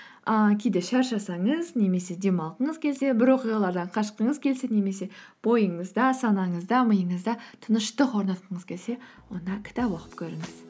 ыыы кейде шаршасаңыз немесе демалғыңыз келсе бір оқиғалардан қашқыңыз келсе немесе бойыңызда санаңызда миыңызда тыныштық орнатқыңыз келсе онда кітап оқып көріңіз